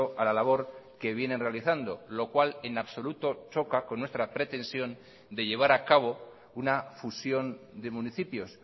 a la labor que vienen realizando lo cual en absoluto choca con nuestra pretensión de llevar a cabo una fusión de municipios